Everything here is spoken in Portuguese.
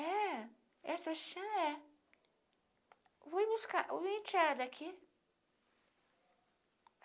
É, essa chan é. Vim buscar, vim tirar daqui.